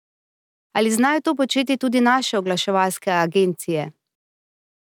Ali znajo to početi tudi naše oglaševalske agencije?